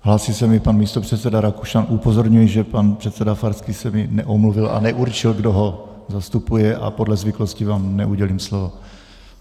Hlásí se mi pan místopředseda Rakušan, upozorňuji, že pan předseda Farský se mi neomluvil a neurčil, kdo ho zastupuje, a podle zvyklostí vám neudělím slovo.